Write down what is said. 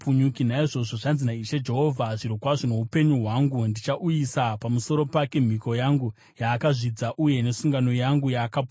“ ‘Naizvozvo zvanzi naIshe Jehovha: Zvirokwazvo noupenyu hwangu, ndichauyisa pamusoro pake mhiko yangu yaakazvidza uye nesungano yangu yaakaputsa.